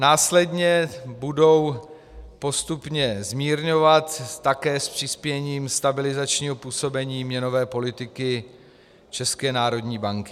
Následně budou postupně zmírňovat také s přispěním stabilizačního působení měnové politiky České národní banky.